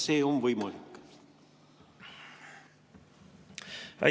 Kas see on võimalik?